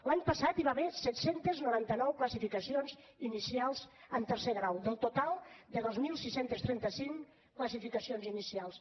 l’any passat hi va haver set cents i noranta nou classificacions inicials en tercer grau del total de dos mil sis cents i trenta cinc classificacions inicials